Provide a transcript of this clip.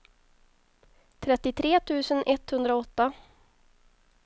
trettiotre tusen etthundraåtta